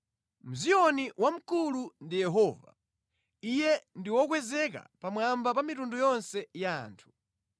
Mʼziyoni wamkulu ndi Yehova; Iye ndi wokwezeka pamwamba pa mitundu yonse ya anthu.